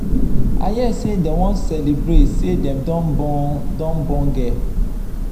i hear say dem wan celebrate say dem don born don born girl